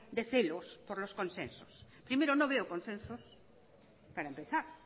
de celos por los consensos primero no veo consensos para empezar